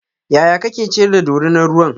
yaya kake ciyar da dorinar ruwan?